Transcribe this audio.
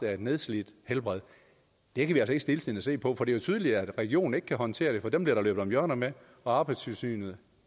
af et nedslidt helbred det kan vi stiltiende se på for det er jo tydeligt at regionen ikke kan håndtere det for dem bliver der løbet om hjørner med og arbejdstilsynet